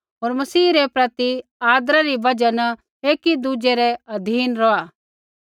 होर मसीह रै प्रति आदरा री बजहा न एकीदुज़ै रै अधीन रौहा